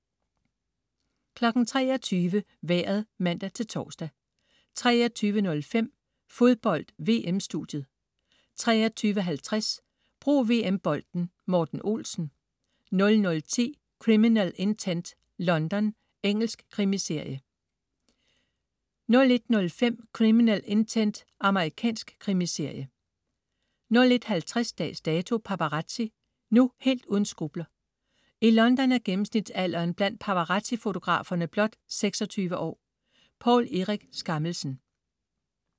23.00 Vejret (man-tors) 23.05 Fodbold: VM-studiet 23.50 Brug VM-bolden: Morten Olsen 00.10 Criminal Intent: London. Engelsk krimiserie 01.05 Criminal Intent. Amerikansk krimiserie 01.50 Dags Dato: Paparazzi. Nu helt uden skrupler. I London er gennemsnitsalderen blandt paparazzi-fotograferne blot 26 år. Poul Erik Skammelsen